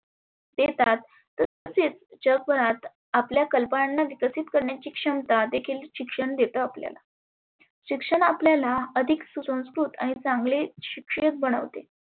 देतात तसेच जगभरात आपल्या कल्पनांना विकसीत करण्याची क्षमता देखील शिक्षण देत आपल्याला. शिक्षण आपल्याला अधीक सुसंस्कृत आणि चांगले शिक्षीत बनवते.